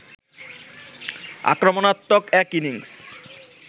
আক্রমণাত্মক এক ইনিংস